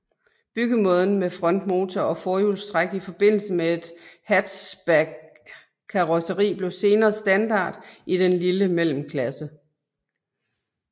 Byggemåden med frontmotor og forhjulstræk i forbindelse med et hatchbackkarrosseri blev senere standard i den lille mellemklasse